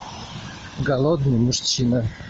голодный мужчина